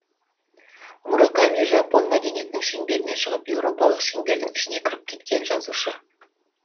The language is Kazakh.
мураками жапон мәдениетінің шеңберінен шығып еуропалық шеңбердің ішіне кіріп кеткен жазушы